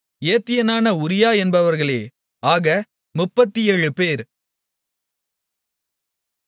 ஏத்தியனான உரியா என்பவர்களே ஆக 37 பேர்